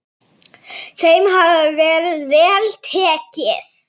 Þeim hafi verið vel tekið.